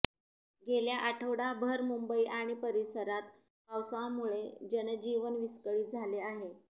गेल्या आठवडाभर मुंबई आणि परिसरात पावसामुळे जनजीवन विस्कळित झाले आहे